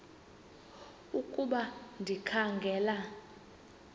ukuba ndikha ngela